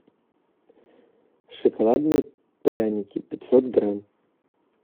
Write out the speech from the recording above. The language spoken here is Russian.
шоколадные пряники пятьсот грамм